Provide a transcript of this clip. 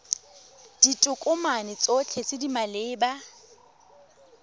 ditokomane tsotlhe tse di maleba